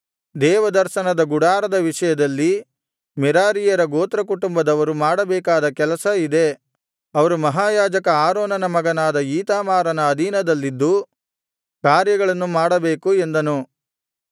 ದೇವದರ್ಶನದ ಗುಡಾರದ ವಿಷಯದಲ್ಲಿ ಮೆರಾರೀಯರ ಗೋತ್ರಕುಟುಂಬದವರು ಮಾಡಬೇಕಾದ ಕೆಲಸ ಇದೇ ಅವರು ಮಹಾಯಾಜಕ ಆರೋನನ ಮಗನಾದ ಈತಾಮಾರನ ಅಧೀನದಲ್ಲಿದ್ದು ಕಾರ್ಯಗಳನ್ನು ಮಾಡಬೇಕು ಎಂದನು